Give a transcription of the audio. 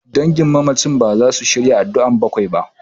Dangin mamacin baza su shirya addu'ar bakwai ba.